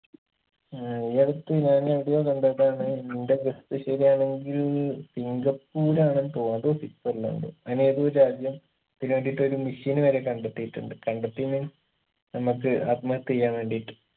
ഏർ ഈയടുത്ത് ഞാനെടെയോ കണ്ടതാണ് ന്റെ guess ശരിയാണെങ്കിൽ സിംഗപ്പൂരാണെന്ന് തോന്ന് അതോ സ്വിറ്റ്‌സർലാണ്ട് അയിലെതൊരു രാജ്യം ഇതിനു വേണ്ടീട്ടൊരു machine വരെ കണ്ടെത്തിയിട്ടുണ്ട് കണ്ടെത്തി means നമ്മക്ക് ആത്മഹത്യ ചെയ്യാൻ വേണ്ടീട്ട്